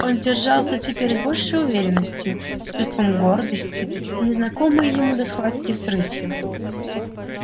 он держался теперь с большей уверенностью с чувством гордости незнакомой ему до схватки с рысью